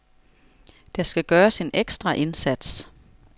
Der skal gøres en ekstra indsats.